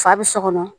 Fa bɛ so kɔnɔ